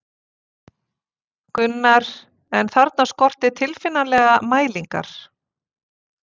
Gunnar, en þarna skorti tilfinnanlega mælingar.